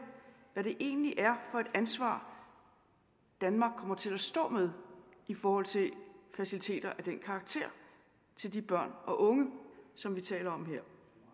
hvad det egentlig er for et ansvar danmark kommer til at stå med i forhold til faciliteter af den karakter til de børn og unge som vi taler om her